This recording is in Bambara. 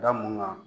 Da mun ŋɔni